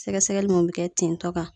Sɛgɛsɛgɛli mun be kɛ tin tɔ kan.